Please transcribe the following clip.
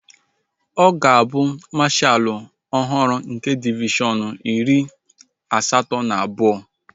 Ọ ga-abụ mashaalu ọhụrụ nke divishọn iri asatọ na abụọ